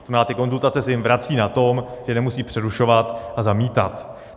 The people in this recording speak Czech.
To znamená, ty konzultace se jim vracejí na tom, že nemusí přerušovat a zamítat.